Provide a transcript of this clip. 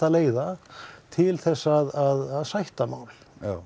leiða til þess að sætta mál